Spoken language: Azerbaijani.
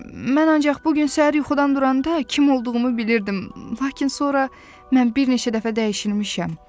Mən ancaq bu gün səhər yuxudan duranda kim olduğumu bilirdim, lakin sonra mən bir neçə dəfə dəyişilmişəm.